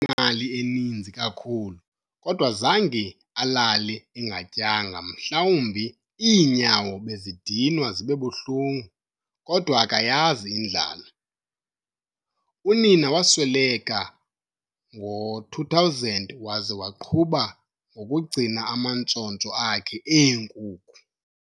Zange babe nemali eninzi kakhulu, kodwa zange alale engatyanga mhlawumbi iinyawo bezidinwa zibe buhlungu, kodwa akayazi indlala. Unina wasweleka ngo-2000 waze waqhuba ngokugcina amantshontsho akhe eenkukhu.